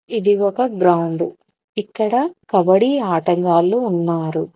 ఇది ఒక గ్రౌండు ఇక్కడ కబడ్డీ ఆటగాళ్లు ఉన్నారు.